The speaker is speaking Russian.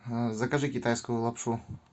закажи китайскую лапшу